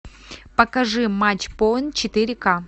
покажи матч поинт четыре ка